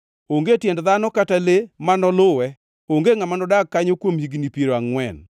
Onge tiend dhano kata le ma noluwe; onge ngʼama nodag kanyo kuom higni piero angʼwen.